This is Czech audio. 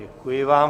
Děkuji vám.